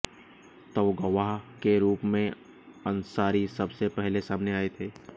तब गवाह के रूप में अंसारी सबसे पहले सामने आए थे